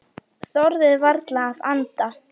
Þorði varla að anda.